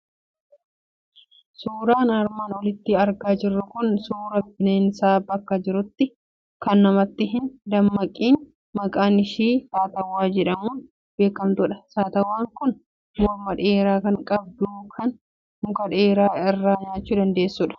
Suuraan armaan olitti argaa jirru kun suuraa bineensa bakkee jiraattu, kan namatti hin madaqiin maqaan ishii satawwaa jedhamuun beekamtudha. Satawwaan kun morma dheeraa kan qabdu, kan muka dheeraa irraa nyaachuu dandeessudha.